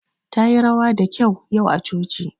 Tayi rawa da kyau yau a coci.